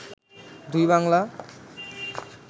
দুই বাংলা